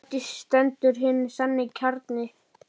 Og eftir stendur hinn sanni kjarni.